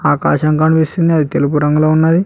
ఆకాశం కనిపిస్తుంది అది తెలుపు రంగులో ఉన్నది.